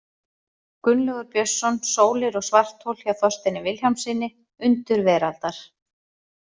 Gunnlaugur Björnsson, Sólir og svarthol, hjá Þorsteini Vilhjálmssyni, Undur veraldar.